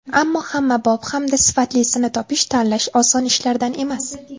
Ammo hammabop, hamda sifatlisini topish, tanlash oson ishlardan emas.